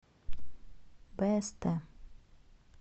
пст